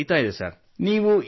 ಪ್ರಕ್ರಿಯೆ ನಡೆಯುತ್ತಿದೆ